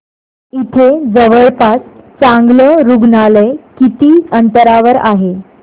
इथे जवळपास चांगलं रुग्णालय किती अंतरावर आहे